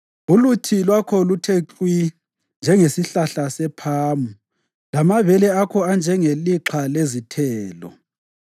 Uluthi lwakho luthe klwi, njengesihlahla sephamu, lamabele akho anjengelixha lezithelo.